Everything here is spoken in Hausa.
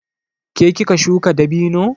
Ke kika shuka dabino?